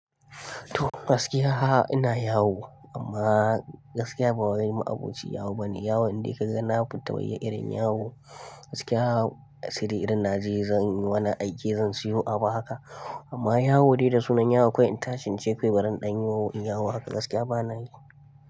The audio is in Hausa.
To gaskiya ina yawo amma gaskiya ba wai ma'abocin yawo bane. Yawo indai ka ga na fita wai irin yawo gaskiya sai dai irin na je zan yi wani aike zan siyo abu haka amma yawo dai da sunan yawo kawai in tashi ince bari in ɗan yi yawo haka gaskiya bana yi.